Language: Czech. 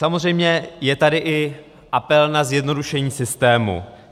Samozřejmě je tady i apel na zjednodušení systému.